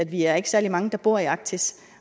vi er ikke særlig mange der bor i arktis